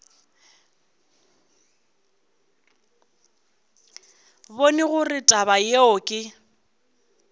bone gore taba yeo ke